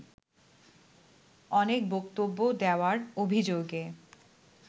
অনেক বক্তব্য দেওয়ার অভিযোগে